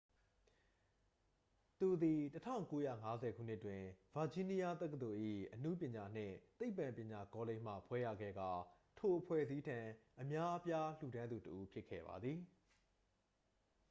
သူသည် 1950 ခုနှစ်တွင် ဗာဂျီးနီးယားတက္ကသိုလ်၏ အနုပညာနှင့် သိပ္ပံပညာကောလိပ်မှ ဘွဲ့ရခဲ့ကာ ထိုအဖွဲ့အစည်းထံ အများအပြားလှူဒါန်းသူတစ်ဦးဖြစ်ခဲ့ပါသည်